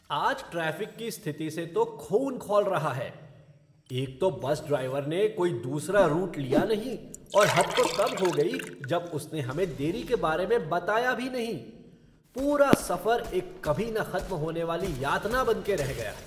आज ट्रैफ़िक की स्थिति से तो खून खौल रहा है। एक तो बस ड्राइवर ने कोई दूसरा रूट लिया नहीं, और हद तो तब हो गई जब उसने हमें देरी के बारे में बताया भी नहीं। पूरा सफर एक कभी न खत्म होने वाली यातना बन के रह गया!